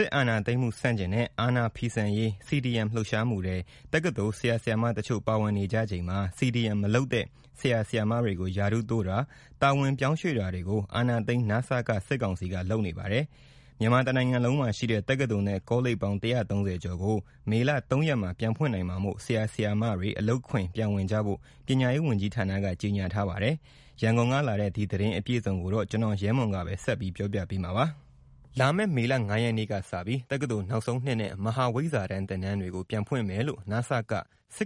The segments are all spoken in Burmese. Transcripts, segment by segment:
စ်အာဏာသိမ်းမှု ဆန့်ကျင်တဲ့ အာဏာဖီဆန်ရေး CDM လှုပ်ရှားမှုထဲ တက္ကသိုလ် ဆရာဆရာမတချို့ ပါဝင်နေကြချိန်မှာ CDM မလုပ်တဲ့ ဆရာ၊ ဆရာမတွေကို ရာထူးတိုးတာ၊ တာဝန်ပြောင်းရွှေ့တာတွေကို အာဏာသိမ်း နစက စစ်ကောင်စီက လုပ်နေပါတယ်။ မြန်မာတနိုင်ငံလုံးမှာရှိတဲ့ တက္ကသိုလ်နဲ့ ကောလိပ်ပေါင်း ၁၃၀ ကျော်ကို မေလ ၅ ရက်မှာ ပြန်ဖွင့်နိုင်မှာမို့ ဆရာ ဆရာမတွေ အလုပ်ခွင်ပြန်ဝင်ကြဖို့ ပညာရေး ဝန်ကြီးဌာနက ကြေညာထားပါတယ်။ အခုလာမယ့် မေလ ၅ရက်နေ့မှာ တက္ကသိုလ်နောက်ဆုံးနှစ်နဲ့ မဟာဝိဇ္ဇာတန်းသင်တန်းတွေကို စစ်အုပ်ချုပ်ရေး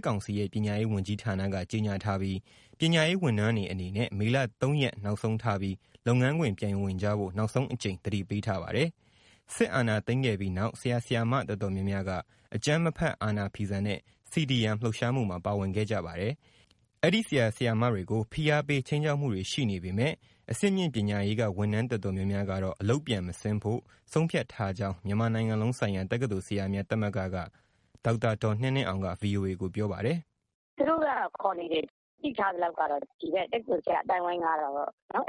ကောင်စီ ခန့်အပ်ထားတဲ့ ပညာရေးဝန်ကြီးဌာနက စတင်ဖွင့်လှစ်ဖို့ ပြင်ဆင်နေပြီး ပညာရေးဝန်ထမ်းတွေကိုလည်း မေလ ၃ရက် နောက်ဆုံးထားပြီး လုပ်ငန်းခွင်ပြန်ဝင်ဖို့ နောက်ဆုံးအကြိမ် သတိပေးထားပါတယ်။ ဖိအားပေး ခြိမ်းခြောက်မှုတွေ ရှိနေပေမဲ့ အဆင့်မြင့်ပညာရေးက ဝန်ထမ်းအများစုဟာ မေလ ၃ ရက်မှာ အလုပ်ပြန်မဆင်းဖို့ ဆုံးဖြတ်ထားကြောင်း မြန်မာနိုင်ငံလုံးဆိုင်ရာ တက္ကသိုလ်ဆရာများ သမဂ္ဂက ဒေါက်တာ ဒေါ်နှင်းနှင်းအောင်က ဗွီအိုအေကို ပြောပါတယ်။ “ သူတို့ကတော့ ခေါ်နေတယ်၊ သိထားသလောက် ဒီဘက် တက္ကသိုလ်ဆရာ အသိုင်းအဝန်းကတော့ ၈၅% လောက်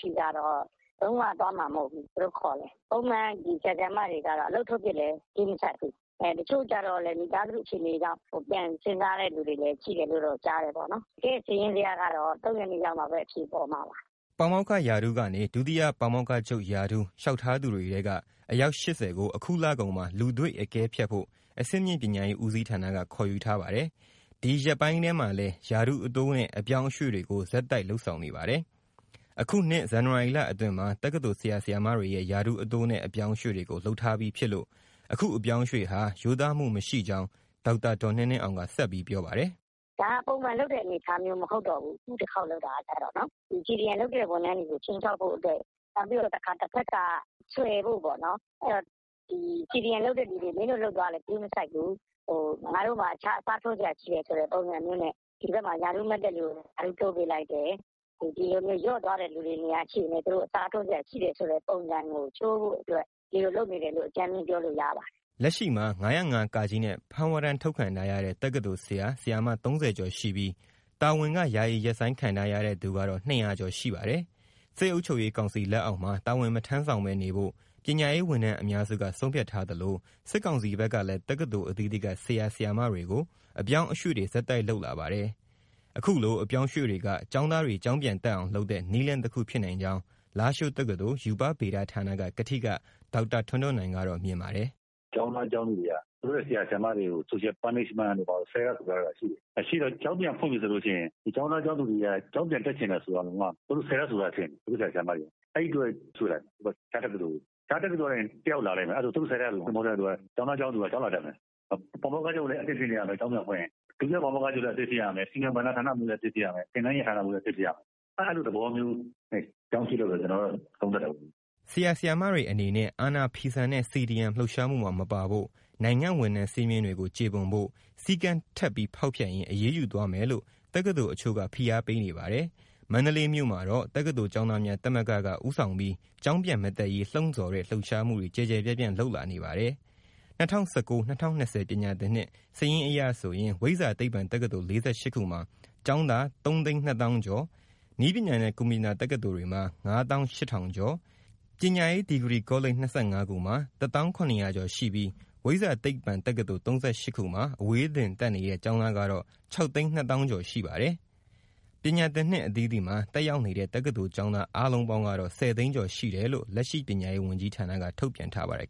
ထိကတော့ လုံးဝသွားမှာ မဟုတ်ဘူးဗျ သူတို့ခေါ်လည်း။ ပုံမှန် ဒီ ဆရာ၊ ဆရာမတွေကတော့ အလုပ်ထုတ်ပစ်လည်း ဂရုမစိုက်ဘူး။ တချို့ကျတော့လည်း မိသားစုအခြေအနေကြောင့် ပြန်စဉ်းစားတဲ့ လူတွေလည်း ရှိတယ်လို့ကြားတယ်။ တကယ့် စာရင်းဇယားကတော့ ၃ ရက်နေ့မှပဲ အဖြေပေါ်မှာပါ။” ပါမောက္ခရာထူးကနေ ဒုတိယ ပါမောက္ခချုပ်ရာထူး လျှောက်ထားသူတွေထဲက အယောက် ၈၀ ကို အခုလကုန်မှာ လူတွေ့အကဲဖြတ်ဖို့ အဆင့်မြင့်ပညာ ဦးစီးဌာနက ခေါ်ယူထားပါတယ်။ ဒီရက်ပိုင်းထဲမှာလည်း ရာထူးတိုးနဲ့ အပြောင်းအရွှေ့တွေကို ဆက်တိုက်လုပ်ဆောင်နေပါတယ်။ အခုနှစ် ဇန်နဝါရီလ အတွင်းမှာ တက္ကသိုလ်ဆရာတွေရဲ့ ရာထူးတိုးနဲ့ အပြောင်းအရွှေ့ကို လုပ်ထားပြီးဖြစ်လို့ အခုအပြောင်းအရွှေ့ဟာ ရိုးသားမှုမရှိကြောင်း ဒေါက်တာဒေါ်နှင်းနှင်းအောင်က ဆက်ပြောပါတယ်။ “ ဒါကပုံမှန်လုပ်တဲ့ အနေအထားမျိုး မဟုတ်တော့ဘူး အခုခေါက်လုပ်တာက။ CDM လုပ်တဲ့ ဝန်ထမ်းတွေကို ခြိမ်းခြောက်ဖို့အတွက် နောက်ပြီး တဖက်က ဆွယ်ဖို့ပေါ့နော်။ CDM လုပ်တဲ့သူတွေ မင်းတို့လုပ်သွားလည်း ဂရုမစိုက်ဘူး၊ ငါတို့မှာ အခြားအစားထိုးစရာ ရှိတယ်ဆိုတဲ့ ပုံစံမျိုးနဲ့ ဒီဘက်မှာ ရာထူးမတက်လို့ ရာထူးတိုးပေးလိုက်တယ်၊ လျော့သွားတဲ့ သူတွေနေရာကိုလည်း သူတို့အစားထိုးစရာ ရှိတယ်ဆိုတဲ့ ပုံစံကို ချိုးဖို့အတွက် ဒီလိုလုပ်နေတယ်လို့ အကြိမ်းဖျင်း ပြောလို့ရပါတယ်။” လက်ရှိမှာ ၅၀၅ နဲ့ ဖမ်းဝရမ်း ထုတ်ခံထားရတဲ့ တက္ကသိုလ်ဆရာ၊ ဆရာမ ၃၀ ကျော်ရှိပြီး၊ တာဝန်က ယာယီရပ်ဆိုင်းခံထားရတဲ့ သူကတော့ ၂၀၀ ကျော်ရှိပါတယ်။ စစ်အုပ်ချုပ်ရေးကောင်စီ လက်အောက်မှာ တာဝန်မထမ်းဆောင်ဘဲနေဖို့ ပညာရေးဝန်ထမ်းအများစုက ဆုံးဖြတ်ထားသလို စစ်ကောင်စီ ဘက်ကလည်း တက္ကသိုလ် အသီးသီးက ဆရာ၊ ဆရာမတွေကို အပြောင်းအရွှေ့တွေ ဆက်တိုက်လုပ်လာပါတယ်။ အခုလို အပြောင်းအရွှေတွေက ကျောင်းသားတွေ ကျောင်းပြန်လာအောင်လုပ်တဲ့ နည်းလမ်းတခုဖြစ်နိုင်ကြောင်း လားရှိုးတက္ကသိုလ် ရူပဗေဒဌာနက ကထိက ဒေါက်တာထွန်းထွန်းနိုင်က ပြောပါတယ်။ “ ကျောင်းသား ကျောင်းသူတွေဟာ သူတို့ ဆရာ၊ ဆရာမတွေကို social punishment တို့ ဆဲထားဆိုထားတာတွေရှိတယ်၊ ရှိတော့ ကျောင်းပြန်ဖွင့်ပြီဆိုရင် ကျောင်းသား၊ ကျောင်းသူတွေဟာ ကျောင်းပြန်တက်ချင်ရင်တောင် သူတို့ဆဲထား ဆိုထားတာတွေ ဖြစ်နေတယ် သူတို့ဆရာတွေကို။ အဲဒီအတွက် ရွှေ့လိုက်တယ် တခြားတက္ကသိုလ်ကို။ တခြားတက္ကသိုလ်ကနေ တယောက်လာလိမ့်မယ် အဲဒါဆိုရင် သူတို့ဆဲထားဆိုထားသူ မဟုတ်တဲ့အတွက် ကျောင်းသား ကျောင်းသူဟာ ကျောင်းလာတက်မယ်၊ ပါမောက္ခချုပ်လည်း အသစ်ဖြစ်နေရမယ် ကျောင်းပြန်တက်ရင်၊ ဒုတိယ ပါမောက္ခချုပ်လည်း အသစ်ဖြစ်ရမယ်၊ စီမံဘဏ္ဍာဌာနလည်း အသစ်ဖြစ်ရမယ်၊ သင်တန်းရေးရာဌာနမှုးလည်း အသစ်ဖြစ်ရမယ်။ အဲလိုသဘောမျိုးနဲ့ အပြောင်းအရွှေ့ လုပ်တယ်လို့ ကျနော်ကတော့ သုံးသပ်တယ်ပေါ့။” အာဏာဖီဆန့်တဲ့ CDM လှုပ်ရှားမှုမှာမပါဖို့၊ နိုင်ငံ့ဝန်ထမ်း စည်းမျဉ်းတွေကို ကျေပွန်ဖို့ ၊ စည်းကမ်းထပ်ပြီး ဖောက်ဖျက်ရင် အရေးယူသွားမယ်လို့ တက္ကသိုလ်တချို့က ဖိအားပေးနေပါတယ်။ မန္တလေးမြို့မှာ တက္ကသိုလ်ကျောင်းသားများသမဂ္ဂ ဦးဆောင်ပြီး ကျောင်းပြန်မတက်ရေး လှုံ့ဆော်တဲ့ လှုပ်ရှားမှုတွေ ကျယ်ကျယ်ပြန့်ပြန့် လုပ်လာနေပါတယ်။ ၂၀၁၉- ၂၀၂၀ ပညာသင်နှစ် စာရင်းအရဆိုရင် ဝိဇ္ဇာသိပ္ပံတက္ကသိုလ် ၄၈ခုမှာ ကျောင်းသား ၃၂၀၀၀၀ ကျော်၊ နည်းပညာနဲ့ ကွန်ပျူတာ တက္ကသိုလ်တွေမှာ ၅၈၀၀၀ ကျော်၊ ပညာရေး ဒီဂရီကောလိပ် ၂၅ ခုမှာ ၁၀၇၀၀ ကျော်ရှိပြီး ဝိဇ္ဇာသိပ္ပံတက္ကသိုလ် ၃၈ ခုမှာ အဝေးသင်တက်နေတဲ့ ကျောင်းသားကတော့ ၆၂၀၀၀၀ ကျော်ရှိပါတယ်။ ပညာသင်နှစ်အသီးသီးမှာ တက်ရောက်နေတဲ့ တက္ကသိုလ်ကျောင်းသား အားလုံးပေါင်းကတော့ ၁၀ သိန်းကျော်ရှိတယ်လို့ လက်ရှိ ပညာရေးဝန်ကြီးဌာနက ထုတ်ပြန်ထားပါတယ်